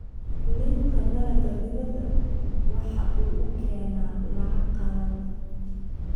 Iibka dalagga dibadda waxa uu keenaa lacag qalaad.